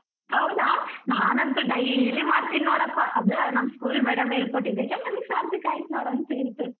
ಹೌದಾ ನಾನ್ ಅಂತು daily ಮಾಡ್ತೀನಿ ನೋಡಪ್ಪಾ ಅದೇ ನಮ್ school madam ಹೇಳ್ಕೋಟ್ಟಿದ್ದಕ್ಕೆ ನಮ್ಗೆ ಸಾರ್ಥಕ ಆಯ್ತು ನೋಡು ಅಂತು ಇಂತೂ.